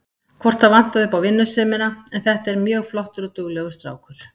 Hvort það vantaði upp á vinnusemina en þetta er mjög flottur og duglegur strákur.